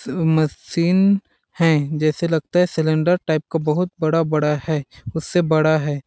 machine है जैसे लगता है सिलेंडर टाइप का बहुत बड़ा-बड़ा है उससे बड़ा है --